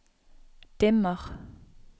dimmer